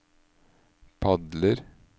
padler